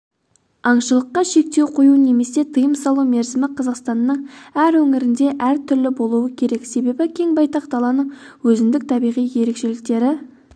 аңшылыққа шектеу қою немесе тыйым салу мерзімі қазақстанның әр өңірінде әр түрлі болуы керек себебі кең байтақ даланың өзіндік табиғи ерекшеліктері